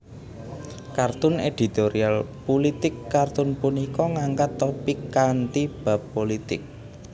Kartun editorial pulitik kartun punika ngangkat topik kanthi bab pulitik